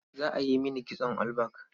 Za a yi mini kitson all back.